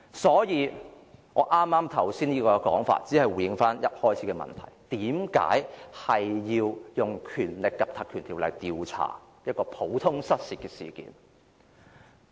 所以，我剛才這種說法只是回應一開始的問題：為何要使用《條例》調查一件普通失竊事件？